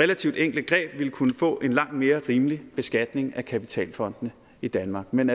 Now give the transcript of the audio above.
relativt enkle greb ville kunne få en langt mere rimelig beskatning af kapitalfondene i danmark men